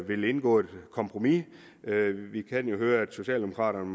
vil indgå et kompromis vi kan høre at socialdemokraterne